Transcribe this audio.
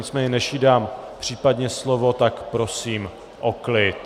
Nicméně než jí dám případně slovo, tak prosím o klid.